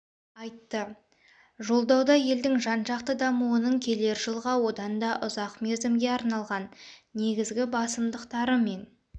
айтты жолдауда елдің жан-жақты дамуының келер жылға одан да ұзақ мерзімге арналған негізгі басымдықтары мен